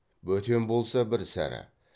бөтен болса бір сәрі